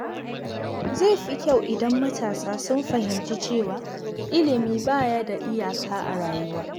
Zai fi kyau idan matasa sun fahimci cewa ilimi ba ya da iyaka a rayuwa.